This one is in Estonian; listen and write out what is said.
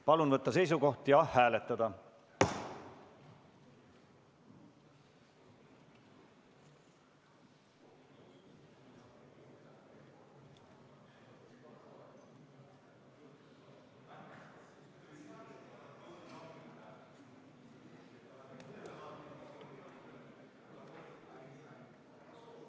Palun võtta seisukoht ja hääletada!